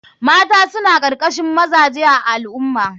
Mata suna karkashin mazaje a al ummah.